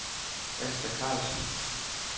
Asta Karlsen